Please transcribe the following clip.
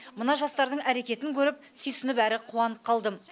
мына жастардың әрекетін көріп сүйсініп әрі қуанып қалдым